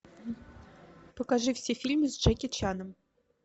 покажи все фильмы с джеки чаном